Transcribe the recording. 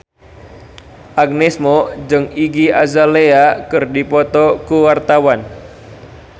Agnes Mo jeung Iggy Azalea keur dipoto ku wartawan